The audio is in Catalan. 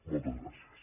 moltes gràcies